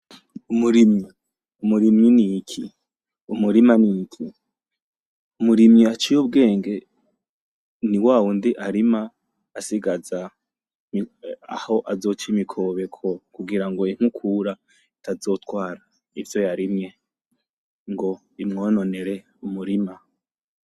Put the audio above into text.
Umurimyi! Umurimyi n'iki? Umurima n'iki? Umurimyi aciy' ubwenge ni wa wundi arima asigaza aho azoc'imikobeko kugira ngo inkukura itazotwara ivyo yarimye, ngo imwononere umurima.